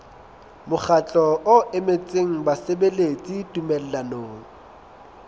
mokgatlo o emetseng basebeletsi tumellanong